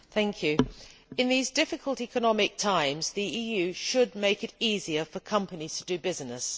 Mr President, in these difficult economic times the EU should make it easier for companies to do business.